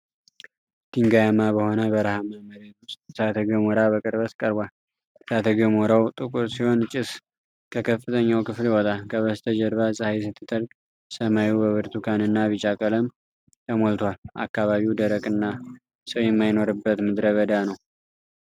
ድንጋያማ በሆነ በረሃማ መሬት ውስጥ እሳተ ገሞራ በቅርበት ቀርቧል። እሳተ ገሞራው ጥቁር ሲሆን ጭስ ከከፍተኛው ክፍል ይወጣል። ከበስተጀርባ ፀሐይ ስትጠልቅ ሰማዩ በብርቱካን እና ቢጫ ቀለም ተሞልቷል። አካባቢው ደረቅና ሰው የማይኖርበት ምድረ በዳ ነው።